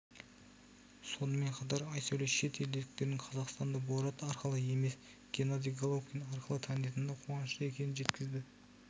сонымен қатар айсәуле шет елдіктердің қазақстанды борат арқылы емес генадий головкин арқылы танитынына қуанышты екенін жеткізді